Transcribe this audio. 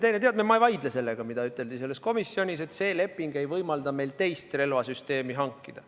Ma ei vaidle sellega, mida üteldi selles komisjonis: et see leping ei võimalda meil teist relvasüsteemi hankida.